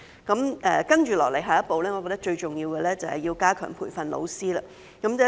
接下來，我認為最重要的下一步，就是要加強培訓老師。